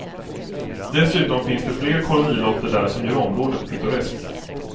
Dessutom finns det flera kolonilotter där som gör området pittoreskt.